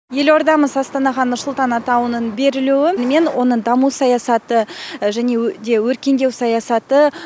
елордамыз астанаға нұрсұлтан атауының берілуі мен оның даму саясаты және де өркендеу саясаты